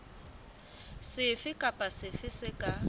sefe kapa sefe se ka